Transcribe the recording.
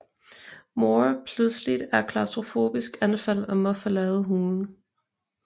Moore pludseligt er klaustrofobisk anfald og må forlade hulen